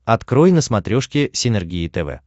открой на смотрешке синергия тв